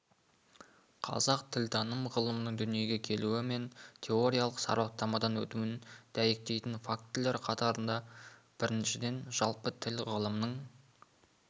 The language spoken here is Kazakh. қазақ тілтаным ғылымының дүниеге келуі мен теориялық сараптамадан өтуін дәйектейтін фактілер қатарында біріншіден жалпы тіл ғылымының